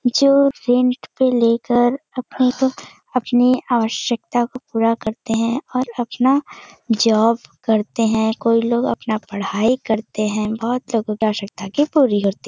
जो रेंट पे लेकर अपनी आ अपनी आवश्यकता को पूरा करते हैं और अपना जॉब करते हैं कोई लोग अपना पढ़ाई करते हैं बहोत लोगों की आवश्यकता की पूरी होती --